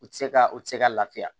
U tɛ se ka u tɛ se ka lafiya